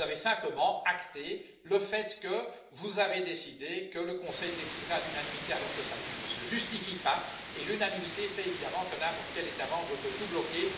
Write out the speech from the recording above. Vous avez simplement acté le fait que vous avez décidé que le Conseil déciderait à l'unanimité, alors que cela ne se justifie pas, et l'unanimité fait évidemment que n'importe quel État membre peut tout bloquer.